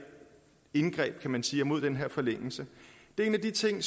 indgreb kan man sige mod den her forlængelse en af de ting